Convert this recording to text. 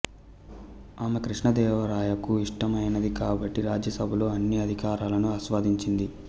ఆమె కృష్ణదేవరాయకు ఇష్టమైనది కాబట్టి రాజసభలో అన్ని అధికారాలను ఆస్వాదించింది